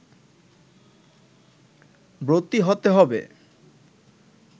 ব্রতী হতে হবে